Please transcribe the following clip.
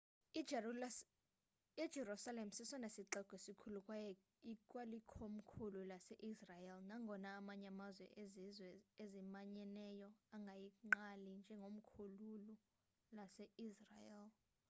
ijerusalem sesona sixeko sikhulu kwaye ikwalikomkhulu lase-israel nangona amanye amazwe ezizwe ezimanyeneyo engayigqali njengekomkhulu lase-israel